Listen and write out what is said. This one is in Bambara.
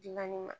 Dilanni ma